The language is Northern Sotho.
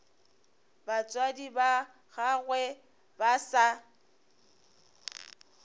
batswadi ba gagwe ba sa